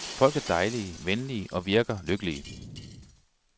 Folk er dejlige, venlige og virker lykkelige.